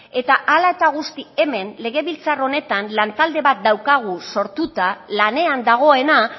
eta hala eta guzti hemen legebiltzar honetan lantalde bat daukagu sortuta lanean dagoena